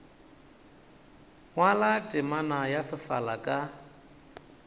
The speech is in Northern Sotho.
ngwala terama ya sefala ka